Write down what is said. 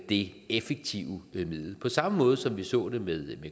det effektive middel på samme måde som vi så det med